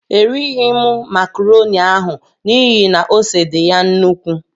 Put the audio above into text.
Erighi mụ macroni ahụ n'ihi na ose dị ya nnukwu.